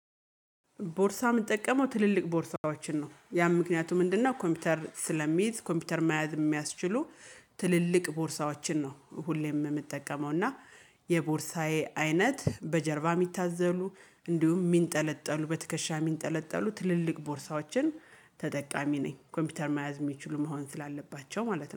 ቦርሳ የምንጠቀመው ትልልቅ ቦርሳዎችን ነው ያም ምክንያቱ ምንድነው? ኮምፒውተር ስለሚይዝ ኮምፒውተር መያዝ የሚያስችሉ ትልልቅ ቦርሳዎችን ነው ሁሌም የምጠቀመው እና። የቦርሳዬ አይነት በጀርባ የሚታዘሉ እንዲሁም የሚንጠለጠሉ በትከሻ የሚንጠለጠሉ ትልልቅ ቦርሳዎችን። ተጠቃሚ ነኝ ኮምፒውተር መያዝ የሚችሉ መሆን ስላለባቸው ማለት ነው